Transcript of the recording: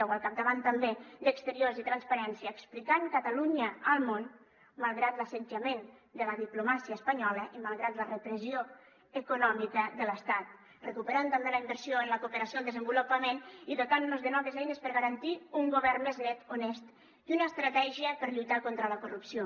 o al capdavant també d’exteriors i transparència explicant catalunya al món malgrat l’assetjament de la diplomàcia espanyola i malgrat la repressió econòmica de l’estat recuperant també la inversió en la cooperació al desenvolupament i dotant nos de noves eines per garantir un govern més net honest i una estratègia per lluitar contra la corrupció